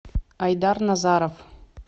айдар назаров